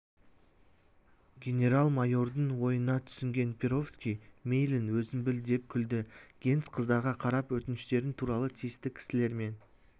генерал-майордың ойына түсінген перовский мейлің өзің біл деп күлді генс қыздарға қарап өтініштерің туралы тиісті кісілермен